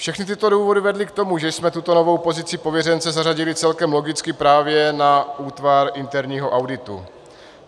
Všechny tyto důvody vedly k tomu, že jsme tuto novou pozici pověřence zařadili celkem logicky právě na útvar interního auditu.